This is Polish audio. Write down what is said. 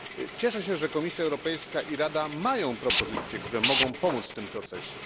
Cieszę się, że Komisja Europejska i Rada mają propozycje, które mogą pomóc w tym procesie.